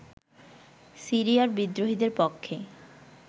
সিরিয়ার বিদ্রোহীদের পক্ষে